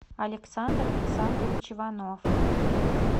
александр александрович иванов